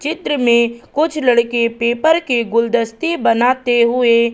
चित्र में कुछ लड़के पेपर के गुलदस्ते बनाते हुएं--